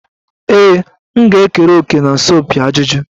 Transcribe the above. Ee, m ga-ekere òkè na asọmpi ajụjụ.